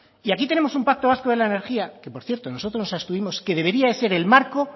y aquí tenemos un pacto vasco de la energía que por cierto nosotros nos abstuvimos que debería de ser el marco